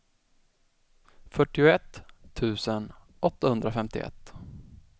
fyrtioett tusen åttahundrafemtioett